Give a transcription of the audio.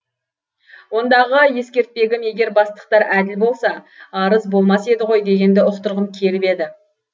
ондағы ескертпегім егер бастықтар әділ болса арыз болмас еді ғой дегенді ұқтырғым келіп еді